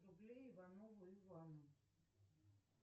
рублей иванову ивану